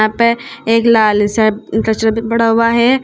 पे एक लाल सा कचरा भी बड़ा हुआ है।